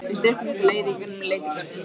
Við styttum okkur leið í gegn um Letigarðinn.